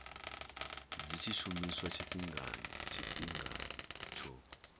dzi tshi shumiswa tshifhingani tsho